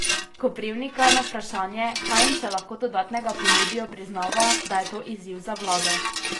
Koprivnikar na vprašanje, kaj jim še lahko dodatnega ponudijo, priznava, da je to izziv za vlado.